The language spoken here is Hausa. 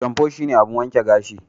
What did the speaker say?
Shamfu shine abun wanke gashi.